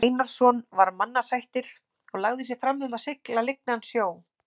Einarsson var mannasættir og lagði sig fram um að sigla lygnan sjó.